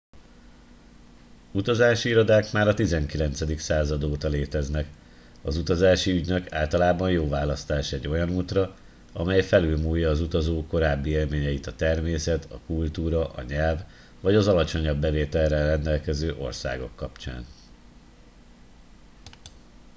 utazási irodák már a 19. század óta léteznek az utazási ügynök általában jó választás egy olyan útra amely felülmúlja az utazó korábbi élményeit a természet a kultúra a nyelv vagy az alacsonyabb bevétellel rendelkező országok kapcsán